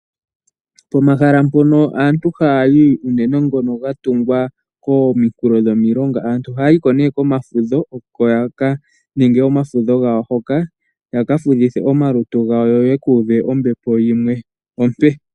Pomahala mpono aantu haya yi unene ngono ga tungwa kominkulo dhomilonga, aantu ohaya yiko nee komafudho oko yaka ninge omafudho gawo hoka, ya ka fudhithe omalutu gawo, yo yeku uve ombepo yimwe ompe.